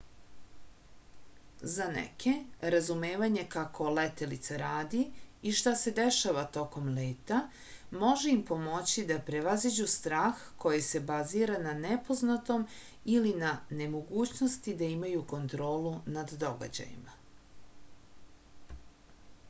za neke razumevanje kako letelica radi i šta se dešava tokom leta može im pomoći da prevaziđu strah koji se bazira na nepoznatom ili na nemogućnosti da imaju kontrolu nad događajima